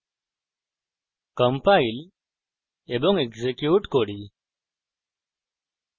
compile এবং execute করি